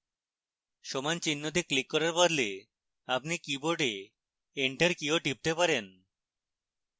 সমান চিহ্নতে ক্লিক করার বদলে আপনি keyboard enter key টিপতে পারেন